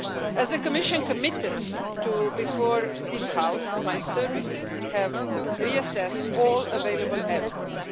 As the Commission committed before this House, my services have reassessed all available evidence.